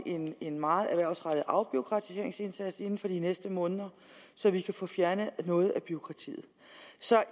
en meget erhvervsrettet afbureaukratiseringsindsats inden for de næste måneder så vi kan få fjernet noget af bureaukratiet